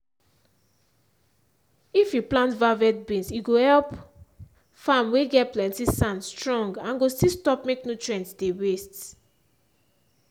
if you plant valvet beans e go help farm whey get plenty sand strong and go still stop make nutrients dey waste